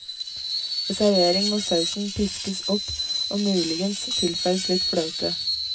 Ved servering må sausen piskes opp og muligens tilsettes litt fløte.